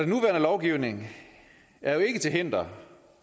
nuværende lovgivning er jo ikke til hinder